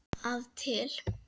að til.